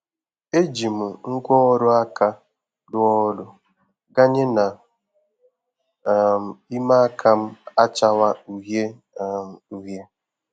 E ji m ngwáọrụ aka rụọ ọrụ ganye na um ime aka m achawa uhie um uhie.